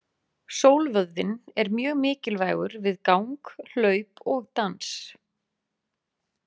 Sólvöðvinn er mjög mikilvægur við gang, hlaup og dans.